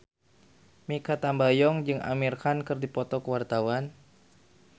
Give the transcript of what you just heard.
Mikha Tambayong jeung Amir Khan keur dipoto ku wartawan